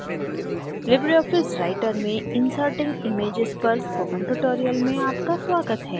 Libre office writer में inserting images छवियाँ प्रविष्ट पर spoken tutorial में आपका स्वागत है